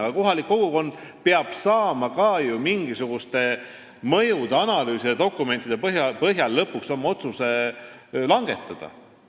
Aga kohalik kogukond peab saama ka ju mingisuguste mõjuanalüüside ja dokumentide põhjal lõpuks oma otsuse langetada.